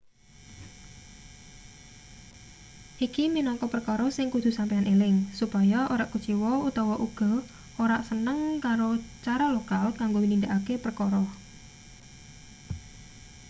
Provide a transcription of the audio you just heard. iki minangka perkara sing kudu sampeyan eling supaya ora kuciwa utawa uga ora seneng karo cara lokal kanggo nindakake prekara